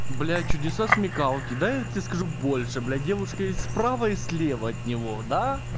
блядь чудеса смекалки да я тебе скажу больше блядь девушка и справа и слева от него да